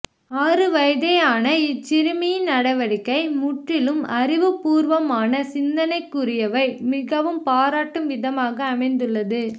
ஆறுவயதே ஆன இச்சிறுமி யின் நடவடிக்கை முற்றிலும் அறிவுபூர்வமான சிந்தனைக்குறியவை மிகவும் பாராட்டும் விதமாக அமைந்துள்ளது